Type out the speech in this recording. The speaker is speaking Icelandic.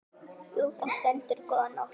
Jú, þar stendur góða nótt.